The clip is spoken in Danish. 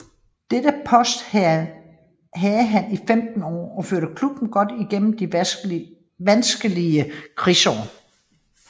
Dette post havde han i 15 år og førte klubben godt igennem de vanskelige krigsår